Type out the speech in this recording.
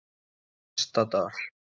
Ystadal